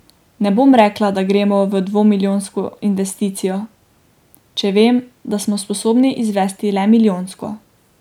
Ne bom rekla, da gremo v dvomilijonsko investicijo, če vem, da smo sposobni izvesti le milijonsko.